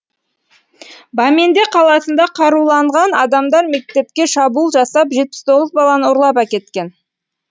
баменда қаласында қаруланған адамдар мектепке шабуыл жасап жетпіс тоғыз баланы ұрлап әкеткен